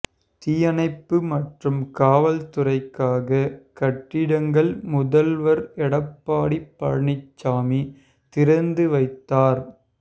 தீயணைப்பு மற்றும் காவல் துறைக்காக கட்டிடங்கள் முதல்வர் எடப்பாடி பழனிசாமி திறந்து வைத்தார்